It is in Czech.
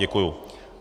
Děkuji.